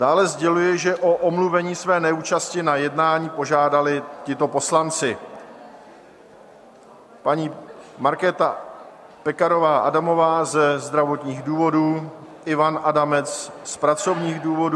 Dále sděluji, že o omluvení své neúčasti na jednání požádali tito poslanci: paní Markéta Pekarová Adamová ze zdravotních důvodů, Ivan Adamec z pracovních důvodů...